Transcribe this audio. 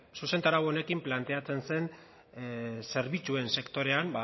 zuzentarau honekin planteatzen zen zerbitzuen sektorean